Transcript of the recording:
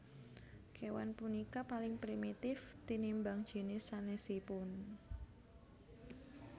Kéwan punika paling primitif tinimbang jinis sanèsipun